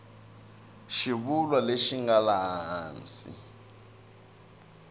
xivulwa lexi nga laha hansi